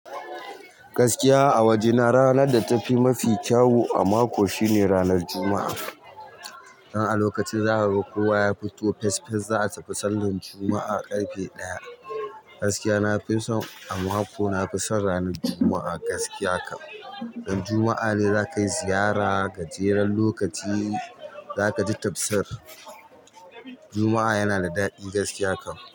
Gaskiya a wajena ranan da tafi mafi kyawu a maki shine ranan juma'a dan a lokacin zakaga kowa ya fito fes fes za a tafi sallan Juma'a ƙarfe ɗaya. Gaskiya na fi son a mako na fi son ranar Juma'a gaskiya kam. Dan Juma'a ne za ka yi ziyara, gajeren lokaci za ka ji tafsir. Juma'a yana da daɗi gaskiya kam.